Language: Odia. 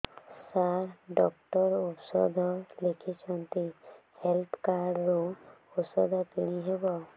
ସାର ଡକ୍ଟର ଔଷଧ ଲେଖିଛନ୍ତି ହେଲ୍ଥ କାର୍ଡ ରୁ ଔଷଧ କିଣି ହେବ